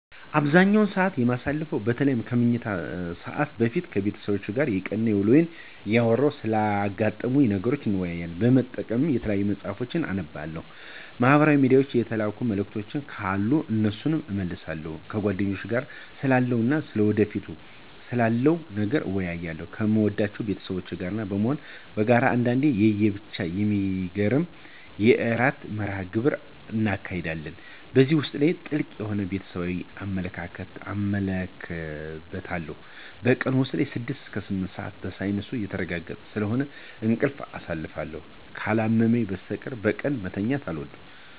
አብዛኛውን ሰዓት የማሳልፈው በተለይም ከመኝታ ሰዓት በፊት ከቤተሰቦቼ ጋር የቀን ውሎየን እያወራን ስላጋጠሙኝ ነገሮች እንወያያለን። በመቀጠልም የተለያዩ መፅሀፍቶችን አነባለሁ፤ ማህበራዊ ሚድያ የተላኩ መልዕክቶች ካሉ እነሱን እመልሳለሁ። ከጓደኞቼም ጋር ስላለፈው እና ወደፊት ስላለው ነገር እንወያያለን። ከምወዳቸው ቤተሰቦቼ ጋር በመሆን በጋራ አንዳንዴም ለየብቻ የሚገርም የዕራት መርሀ ግብር እናካሂዳለን። በዚህ ውስጥ ጥልቅ የሆነ ቤተሰባዊነትን እመለከትበታለሁ። በቀን ውስጥ ከ6 እስከ 8 ሰዓት በሳይንሱ የተረጋገጠ ስለሆነ በእንቅልፍ አሳልፋለሁ። ካላመመኝ በስተቀር ቀን መተኛት አልወድም።